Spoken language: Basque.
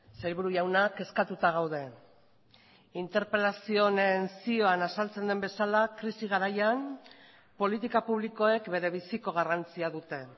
sailburu jauna kezkatuta gaude interpelazio honen zioan azaltzen den bezala krisi garaian politika publikoek berebiziko garrantzia dute